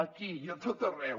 aquí i a tot arreu